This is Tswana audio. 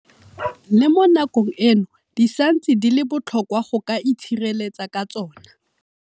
Le mo nakong eno di santse di le botlhokwa go ka itshireletsa ka tsona.